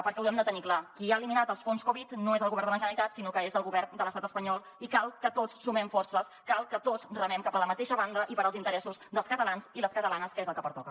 perquè ho hem de tenir clar qui ha eliminat els fons covid no és el govern de la generalitat sinó que és el govern de l’estat espanyol i cal que tots sumem forces cal que tots remem cap a la mateixa banda i pels interessos dels catalans i les catalanes que és el que pertoca